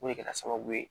O de kɛra sababu ye